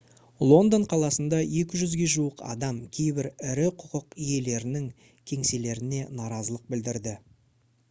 лондон қаласында 200-ге жуық адам кейбір ірі құқық иелерінің кеңселеріне наразылық білдірді